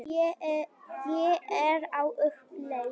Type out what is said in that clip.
Ég er á uppleið.